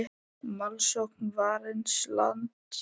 Málsókn Varins lands